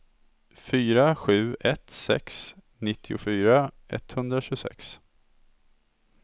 fyra sju ett sex nittiofyra etthundratjugosex